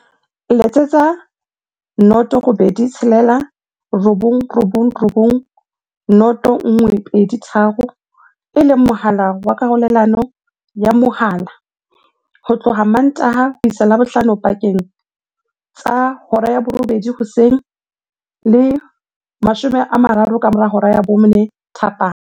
Letsetsa 086 999 0123, e leng mohala wa karolelano ya mohala, ho tloha Mmantaha ho isa Labohlano pakeng tsa 8:00 hoseng le 4:30 thapama.